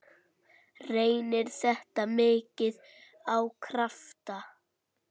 Reynir þetta mikið á krafta?